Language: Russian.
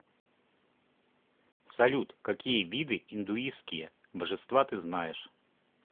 салют какие виды индуистские божества ты знаешь